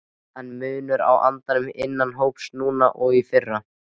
Er munur á andanum innan hópsins núna og í fyrra?